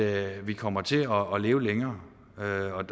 at vi kommer til at leve længere